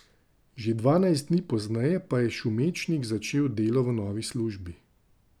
Že dvanajst dni pozneje pa je Šumečnik začel delo v novi službi.